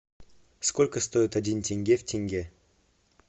сколько стоит один тенге в тенге